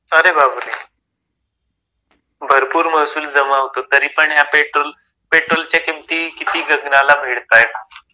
अरे बापरे भरपूर महसूल जमा होतो तरीपण या पेट्रोलच्या किमती किती गगनाला भिडतायेत.